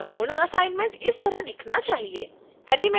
आपका पूर्ण असाइनमेंट इस तरह दिखना चाहिए